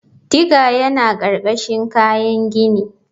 Digger yana ƙarƙashin kayan gini.